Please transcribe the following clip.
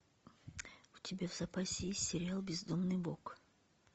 у тебя в запасе есть сериал бездомный бог